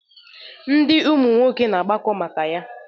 Ndụ ụmụ nwoke na-agbakọ maka ya.